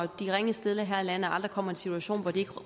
de ringest stillede her i landet aldrig kommer i en situation hvor de